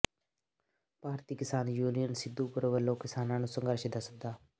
ਭਾਰਤੀ Kisan Union Sidhupur ਵੱਲੋਂ ਕਿਸਾਨਾਂ ਨੂੰ ਸੰਘਰਸ਼ ਦਾ ਸੱਦਾ